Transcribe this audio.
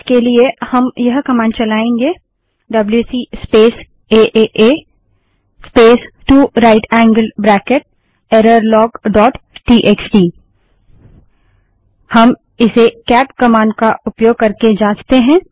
इसके लिए हम यह कमांड चलाएंगे W C space A A A space 2 right angled bracket error log dot T X T W C space A A space 2 right angled bracket twice errorlogटीएक्सटी हम इसे केट कमांड का उपयोग करके जाँचते हैं